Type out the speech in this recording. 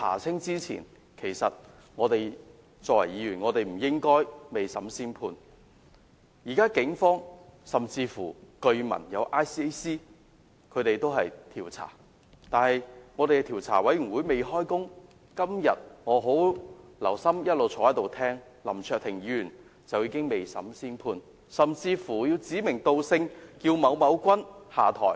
今天，我一直坐在席上細心聆聽議員發言，發覺雖然政府的調查委員會尚未展開調查，但林卓廷議員已經未審先判，甚至指名道姓，要求某君下台。